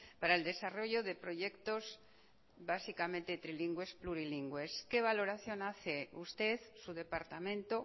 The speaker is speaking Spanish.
para el desarrollo de proyectos básicamente trilingües plurilingües qué valoración hace usted su departamento